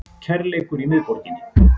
Kærleikur í miðborginni